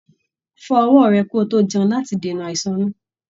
Fọ ọwọ rẹ ki o to jẹun láti dènà àìsàn inú.